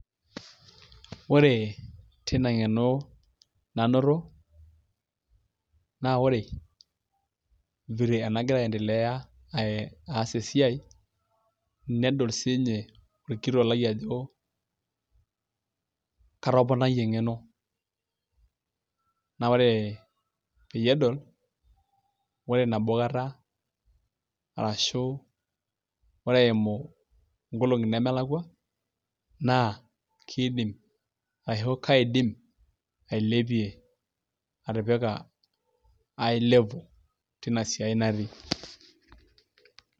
Ore teina ngeno nanoto, naa ore vile enagira aendelea, aas esiai, nedol sii ninye olkitok lai ajo ,atoponayie engeno ,naa ore peyiee edol, ore nabo kata aashu ore eimu nkolongi nemelakua naa keidim ashu kaidim ailepie atipika ae level teina sia natii.